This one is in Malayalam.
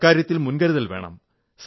അക്കാര്യത്തിലും മുൻകരുതൽ വേണം